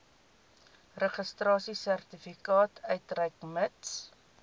registrasiesertifikaat uitreik mits